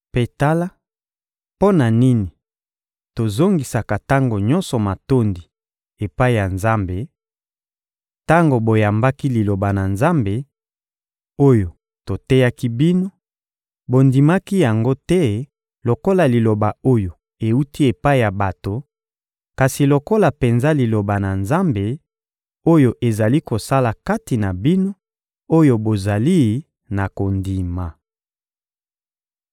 Mpe tala mpo na nini tozongisaka tango nyonso matondi epai ya Nzambe: tango boyambaki Liloba na Nzambe, oyo toteyaki bino, bondimaki yango te lokola liloba oyo ewuti epai ya bato, kasi lokola penza Liloba na Nzambe, oyo ezali kosala kati na bino oyo bozali na kondima.